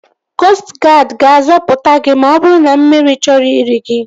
Koostụ guadi ga-azọpụta gị ma ọ bụrụ na mmiri chọrọ iri gị